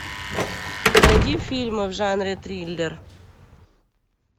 найди фильмы в жанре триллер